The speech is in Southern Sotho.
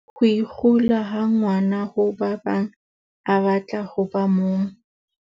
Ho ikgula ha ngwana ho ba bang a batla ho ba mong.